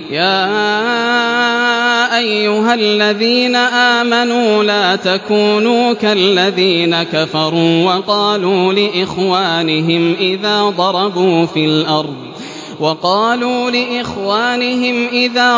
يَا أَيُّهَا الَّذِينَ آمَنُوا لَا تَكُونُوا كَالَّذِينَ كَفَرُوا وَقَالُوا لِإِخْوَانِهِمْ إِذَا